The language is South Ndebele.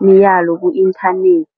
imiyalo ku-internet.